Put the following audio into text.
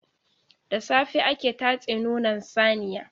Da safe ake tatse nonon saniya.